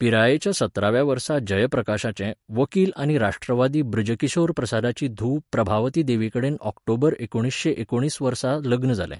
पिरायेच्या सतराव्या वर्सा जयप्रकाशाचें, वकील आनी राष्ट्रवादी बृज किशोर प्रसादाची धूव प्रभावती देवीकडेन ऑक्टोबर एकुणिसशें एकुणीस वर्सा लग्न जालें.